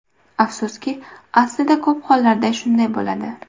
Afsuski, aslida ko‘p hollarda shunday bo‘ladi.